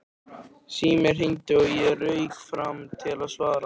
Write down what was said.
Síminn hringdi og ég rauk fram til að svara.